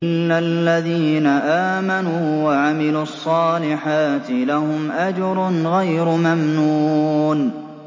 إِلَّا الَّذِينَ آمَنُوا وَعَمِلُوا الصَّالِحَاتِ لَهُمْ أَجْرٌ غَيْرُ مَمْنُونٍ